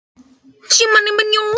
Og vinkonan hlær að mér.